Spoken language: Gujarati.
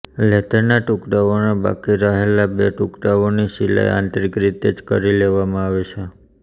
લેધરના ટુકડાઓના બાકી બચેલા બે ટુકડાઓની સિલાઇ આંતરિક રીતે જ કરી લેવામાં આવે છે